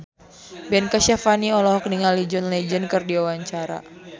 Ben Kasyafani olohok ningali John Legend keur diwawancara